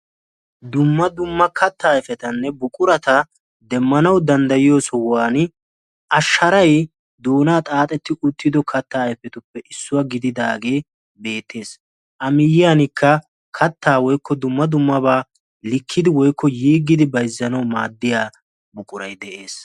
dumma dumma kattaa ayifetanne buquraa demmanawu danddayiyo sohuwan a sharay doonaa xaaxetti uttido katta ayfetuppe issuwa gididaage a miyyiyankka kattaa woykko dumma dummabaa likkidi woykko yiggidi bayzzanawu maaddiya buquray de'es.